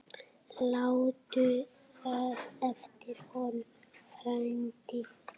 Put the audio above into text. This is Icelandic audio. Láttu það eftir honum, frændi.